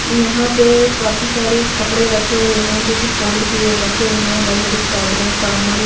यहां पे काफी सारे कपड़े रखे हुए हैं जो कि फोल्ड किए रखे हुए हैं बड़ी-बड़ी चादरें कामल --